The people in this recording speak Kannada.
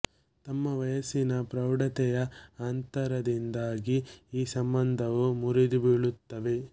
ತಮ್ಮ ವಯಸ್ಸಿನ ಪ್ರೌಢತೆಯ ಅಂತರದಿಂದಾಗಿ ಆ ಸಂಬಂಧವು ಮುರಿದು ಬೀಳುತ್ತದೆ